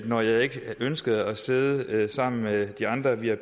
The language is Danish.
når jeg ikke ønskede at sidde sammen med de andre vip